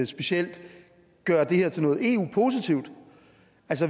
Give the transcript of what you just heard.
specielt at gøre det her til noget eu positivt